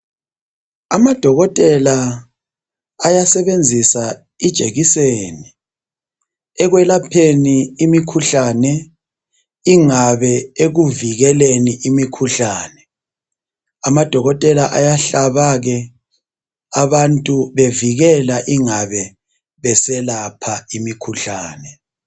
Amadokotela ayasebenzisa ijekiseni ekwelapheni imikhuhlane ingabe ekuvikeleni imikhuhlane amadokotela ayahlaba ke abantu bevikela ingabe beselapha imikhuhlane.